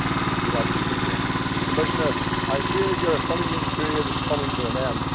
Do not leave it too late. Commissioner, I fear your honeymoon period is coming to an end.